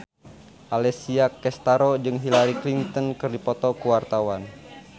Alessia Cestaro jeung Hillary Clinton keur dipoto ku wartawan